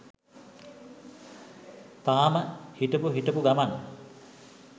තාම හිටපු හිටපු ගමන්